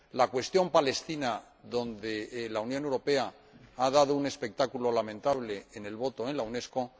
la cuestión palestina, en la que la Unión Europea ha dado un espectáculo lamentable en la votación en la UNESCO